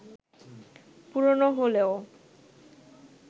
পুরোনো হলেও